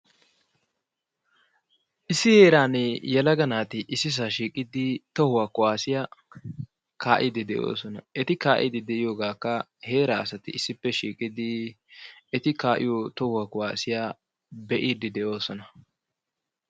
Issi heeran yelaga naati ississa shiiqqidi tohuwa kuassiyaa kaa'ide de'oosona. eti kaa'ide de'iyooogakka heera asati issippe shiiqidi eti kaa'iyo tohuwa kuwassiyaa be'idde de'oosona.